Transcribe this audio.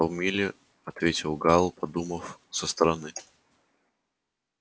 полмили ответил гаал подумав со стороны